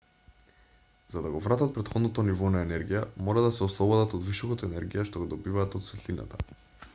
за да го вратат претходното ниво на енергија мора да се ослободат од вишокот енергија што го добиваат од светлината